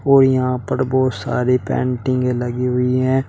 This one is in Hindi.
और यहां पर बहुत सारी पेंटिंगे लगी हुई हैं।